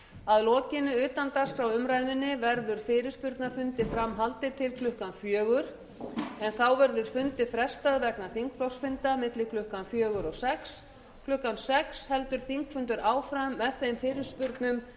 að lokinni utandagskrárumræðunni verður fyrirspurnafundi fram haldið til klukkan fjögur en þá verður fundi frestað vegna þingflokksfunda milli klukkan fjögur og sjötta klukkan sex heldur þingfundur áfram með þeim fyrirspurnum